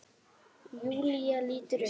Júlía lítur upp.